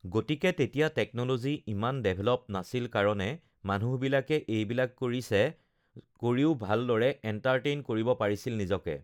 গতিকে তেতিয়া টেকন'লজি ইমান ডেভলপ নাছিল কাৰণে মানুহবিলাকে এইবিলাক কৰিছে কৰিও ভালদৰে এণ্টাৰ্টেইন কৰিব পাৰিছিল নিজকে